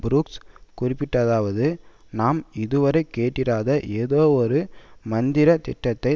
Brooks குறிப்பிட்டதாவது நாம் இதுவரை கேட்டிராத ஏதோ ஒரு மந்திரத்திட்டத்தை